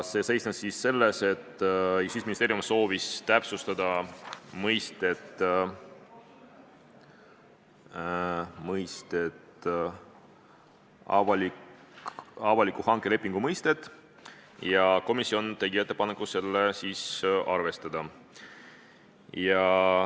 See seisnes selles, et Justiitsministeerium soovis täpsustada avaliku hanke lepingu mõistet, ja komisjon tegi ettepaneku seda arvestada.